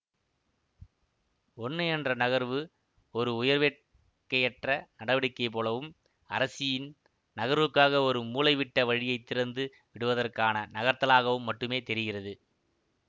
ஒன்னு என்ற நகர்வு ஒரு உயர்வேட்கையற்ற நடவடிக்கை போலவும் அரசியின் நகர்வுக்காக ஒரு மூலைவிட்ட வழியை திறந்து விடுவதற்கான நகர்த்தலாகவும் மட்டுமே தெரிகிறது